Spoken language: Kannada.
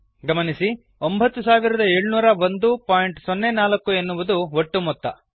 ಗಮನಿಸಿ 970104 ಎನ್ನುವುದು ಒಟ್ಟು ಮೊತ್ತ